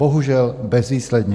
Bohužel bezvýsledně.